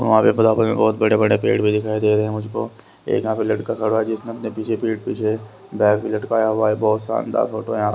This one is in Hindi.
बहुत बड़े-बड़े पेड़ भी दिखाई दे रहे हैं मुझको एक यहां पे लड़का खड़ा हुआ है जिसने अपने पीछे पीठ पीछे बैग भी लटकाया हुआ है बहुत शानदार फोटो यहां --